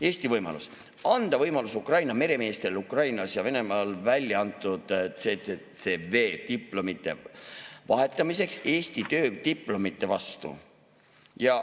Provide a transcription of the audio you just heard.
Eestil on võimalus anda Ukraina meremeestele võimalus vahetada Ukrainas ja Venemaal väljaantud STCW-diplomid Eesti diplomite vastu.